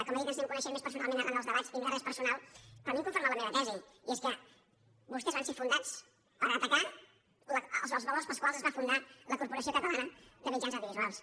com he dit ens anem coneixent més personalment arran dels debats i no hi ha res personal però a mi em confirma la meva tesi i és que vostès van ser fundats per atacar els valors pels quals es va fundar la corporació catalana de mitjans audiovisuals